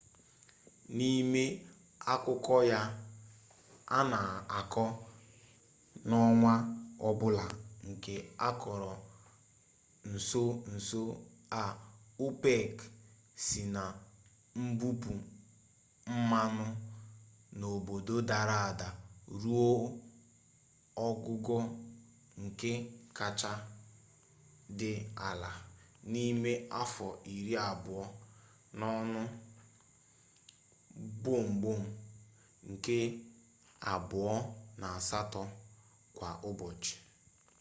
n'ime akụkọ ya a na akọ n'ọnwa ọbụla nke akọrọ nso nso a opec si na mbupu mmanụ n'obodo dara ada ruo ogugo nke kacha dị ala n'ime afọ iri abụọ n'ọnụ gbọmgbọm nde abụọ na asatọ kwa ụbọchị